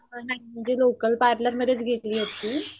नाही म्हणजे local parlour मधेच गेली होती.